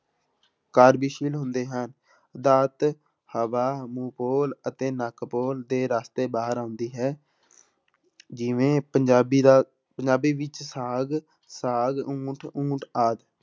ਕਾਰਜਸ਼ੀਲ ਹੁੰਦੇ ਹਨ ਹਵਾ ਮੂੰਹ ਪੋਲ ਅਤੇ ਨੱਕ ਪੋਲ ਦੇ ਰਸਤੇ ਬਾਹਰ ਆਉਂਦੀ ਹੈ ਜਿਵੇਂ ਪੰਜਾਬੀ ਦਾ ਪੰਜਾਬੀ ਵਿੱਚ ਸਾਗ, ਸਾਗ, ਊਂਠ ਊਂਠ ਆਦਿ।